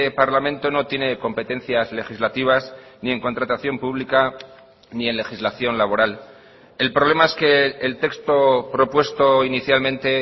parlamento no tiene competencias legislativas ni en contratación pública ni en legislación laboral el problema es que el texto propuesto inicialmente